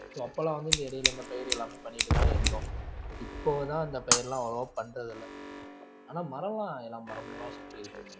so அப்பல்லாம் வந்து இந்த இடையில இந்த பயிர் எல்லாமே பண்ணிட்டுதான் இருந்தோம் இப்போதான் அந்த பயிரெல்லாம் அவ்ளோவா பண்றது இல்ல ஆனா மரம்லாம் எல்லா மரமெல்லாம்